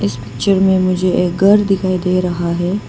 इस पिक्चर में मुझे एक घर दिखाई दे रहा है।